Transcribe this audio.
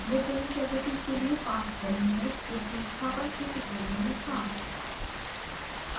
lid driven cavity के लिए पाथ वही है जो संस्थापन के ट्यूटोरियल में था